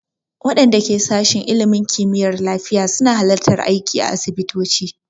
Waɗanda ke sashin ilimin kimiyyar lafiya su na halartar aiki a asibitoci